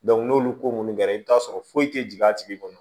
n'olu ko ninnu kɛra i bɛ t'a sɔrɔ foyi tɛ jigin a tigi kɔnɔ